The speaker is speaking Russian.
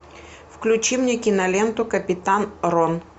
включи мне киноленту капитан рон